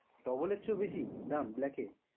double এর চেয়ে বেশি দাম black এ?